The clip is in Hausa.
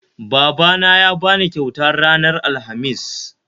Babana ya bani kyauta ranar Alhamis